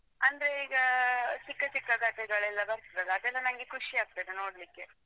ಅಂದ್ರೆ ಈಗ ಚಿಕ್ಕ ಚಿಕ್ಕ ಕಥೆಗಳೆಲ್ಲಾ ಬರ್ತದಲ್ಲಾ ಅದೆಲ್ಲಾ ನಂಗೆ ಖುಷಿ ಆಗ್ತದೆ ನೋಡ್ಲಿಕೆ.